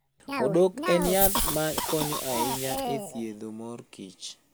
Odok en yath ma konyo ahinya e thiedhomor kich